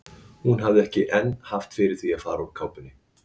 Hún hafði ekki enn haft fyrir því að fara úr kápunni.